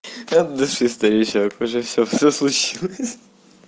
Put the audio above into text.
от души старичок уже всё случилось хи-хи